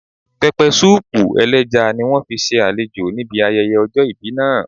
Pẹpẹsúùpù ẹlẹ́ja ni wọ́n fi ṣe àlejò níbi ayẹyẹ ọjọ́ ìbí náà